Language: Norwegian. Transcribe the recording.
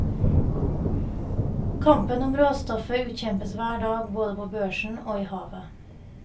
Kampen om råstoffet utkjempes hver dag både på børsen og i havet.